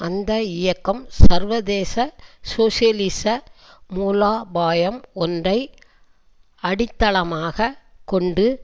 அந்த இயக்கம் சர்வதேச சோசியலிச மூலோபாயம் ஒன்றை அடித்தளமாக கொண்டு